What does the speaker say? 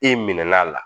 E min n'a la